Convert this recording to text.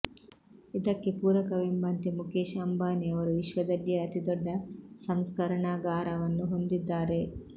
ಇದಕ್ಕೆ ಪೂರಕವೆಂಬಂತೆ ಮುಖೇಶ್ ಅಂಬಾನಿ ಅವರು ವಿಶ್ವದಲ್ಲಿಯೇ ಅತಿ ದೊಡ್ಡ ಸಂಸ್ಕರಣಾಗಾರವನ್ನು ಹೊಂದಿದ್ದಾರೆ